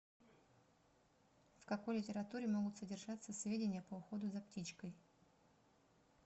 в какой литературе могут содержаться сведения по уходу за птичкой